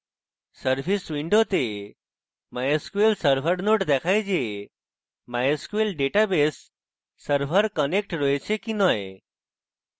service window mysql server node দেখায় the mysql database server connect রয়েছে the নয়